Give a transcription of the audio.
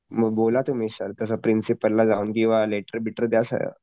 मग बोला तुम्ही सर कस प्रिंसिपल ला जाऊन किव्हा लेटर बिटर द्या सह्या प्रिंसिपल ला